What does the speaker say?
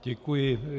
Děkuji.